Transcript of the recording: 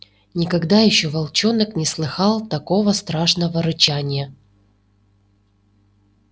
никогда ещё волчонок не слыхал такого страшного рычания